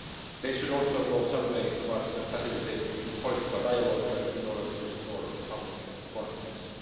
They should also go some way towards facilitating political dialogue in order to restore public confidence.